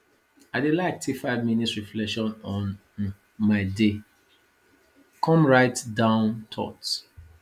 i dey like take five minutes reflect on um my day come write down thoughts